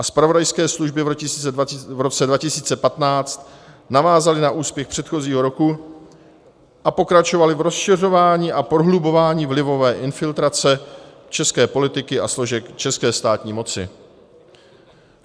A zpravodajské služby v roce 2015 navázaly na úspěch předchozího roku a pokračovaly v rozšiřování a prohlubování vlivové infiltrace české politiky a složek české státní moci.